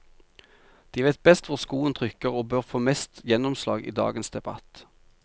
De vet best hvor skoen trykker og bør få mest gjennomslag i dagens debatt.